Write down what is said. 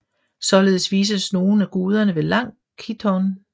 Således vises nogle af guderne med lang chiton